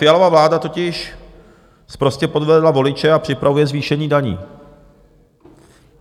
Fialova vláda totiž sprostě podvedla voliče a připravuje zvýšení daní.